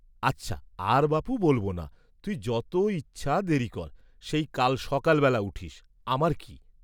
আচ্ছা আর বাপু বলব না, তুই যত ইচ্ছা দেরি কর, সেই কাল সকাল বেলা উঠিস্, আমার কি?